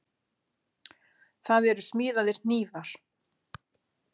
Það eru smíðaðir hnífar.